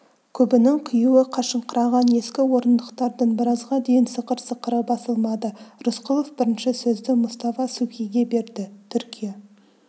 көбінің қиюы қашыңқыраған ескі орындықтардың біразға дейін сықыр-сықыры басылмады рысқұлов бірінші сөзді мұстафа субхиге берді түркия